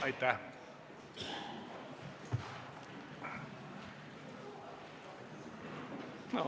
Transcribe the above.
Aitäh!